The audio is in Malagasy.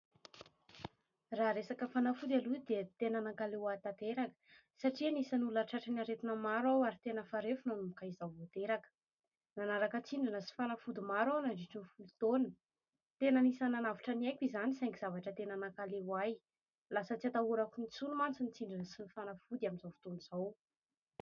Raha resaka fanafody aloha dia tena nankaleo ahy tanteraka satria anisan'ny ny olona tratran'ny aretina maro aho ary tena farofy nanomboka izaho vao teraka ; nanaraka tsindrona sy fanafody maro aho nandritry ny folo taona, tena anisan'ny nanavotra ny aiko izany saingy zavatra tena nankaleo ahy, lasa tsy hatahorako intsony mantsy ny tsindrona sy ny fanafody amin'izao fotoana izao.